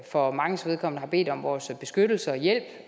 for manges vedkommende har bedt om vores beskyttelse og hjælp